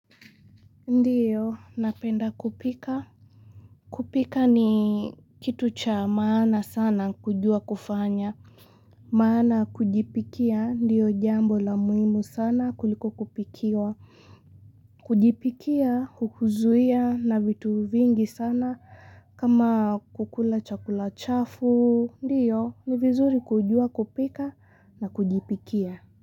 Ndiyo, napenda kupika. Kupika ni kitu cha maana sana kujua kufanya. Maana kujipikia, ndiyo jambo la muhimu sana kuliko kupikiwa. Kujipikia, kukuzuia na vitu vingi sana kama kukula chakula chafu. Ndiyo, ni vizuri kujua kupika na kujipikia.